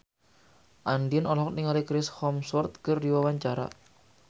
Andien olohok ningali Chris Hemsworth keur diwawancara